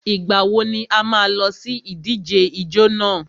Ìgbà wo ni a má a lọ sí ìdíje ijó nà?